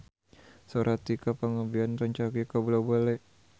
Sora Tika Pangabean rancage kabula-bale